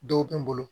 Dɔw bɛ n bolo